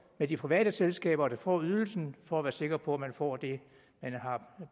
af de private selskaber der får ydelsen for at være sikker på at man får det man har